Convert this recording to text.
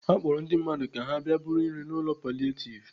Akpọrọ ndị mmadụ ka ha bịa buru nri n'ụlọ palietiv